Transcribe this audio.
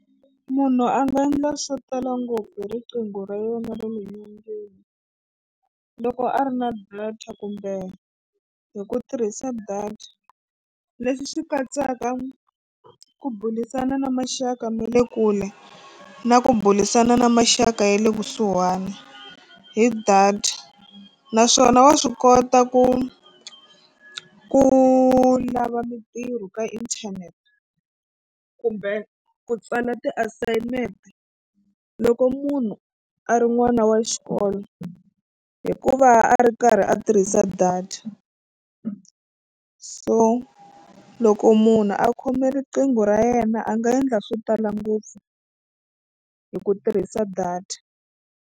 Munhu a nga endla swo tala ngopfu hi riqingho ra yona ra le nyongeni loko a ri na data kumbe hi ku tirhisa data leswi swi katsaka ku burisana na maxaka ma le kule na ku burisana na maxaka ya le kusuhani hi data naswona wa swi kota ku ku lava mitirho ka inthanete kumbe ku tsala ti-assignment loko munhu a ri n'wana wa xikolo hikuva a ri karhi a tirhisa data so loko munhu a khome riqingho ra yena a nga endla swo tala ngopfu hi ku tirhisa data.